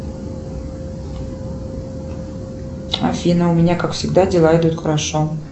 афина у меня как всегда дела идут хорошо